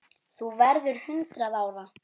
Þú verður hundrað ára.